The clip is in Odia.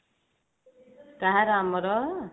କାହାର ଆମର